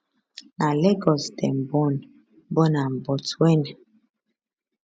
na lagos dem born born am but wen